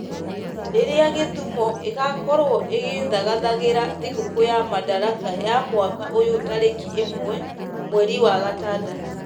rĩrĩa Gĩthumũ ĩgaakorwo ĩgĩthagathagĩra thigũkũ ya Madaraka ya mwaka ũyũ tarĩki ĩmwe mweri wa gatandatũ.